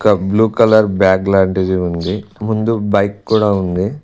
ఒ blue colour bag లాంటిది ఉంది ముందు బైక్ కూడా ఉంది.